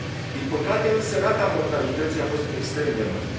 Din păcate, însă, rata mortalității a fost extrem de mare.